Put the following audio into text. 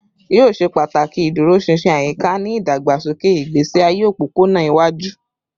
Yoo ṣe pataki iduroṣinṣin ayika ni idagbasoke igbesi aye opopona iwaju